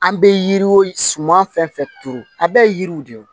An bɛ yiri o suman fɛn fɛn turu a bɛɛ ye yiriw de ye